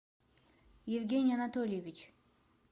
евгений анатольевич